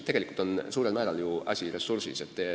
Tegelikult on suurel määral asi ressursis.